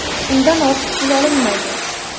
Undan ortiq pul olinmaydi.